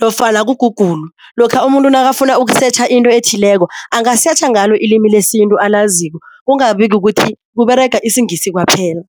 nofana ku-Google, lokha umuntu nakafuna ukusetjha into ethileko angasetjha ngalo ilimi lesintu alaziko kungabi kukuthi kUberega isiNgisi kwaphela.